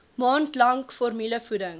maand lank formulevoeding